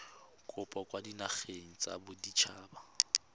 kopo kwa dinageng tsa baditshaba